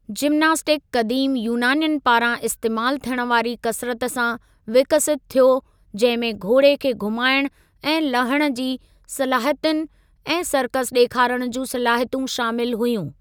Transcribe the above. Gymnastic क़दीम यूनानियुनि पारां इस्तेमालु थियणु वारी कसरत सां विकसित थियो जंहिं में घोड़े खे घुमाइणु ऐं लहणु जी सलाहियतूं ऐं सर्कस डे॒खारण जूं सलाहियतूं शामिलु हुयूं।